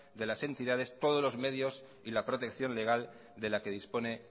de las entidades todos los medios y la protección legal de la que dispone